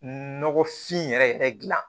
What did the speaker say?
Nɔgɔfin yɛrɛ yɛrɛ dilan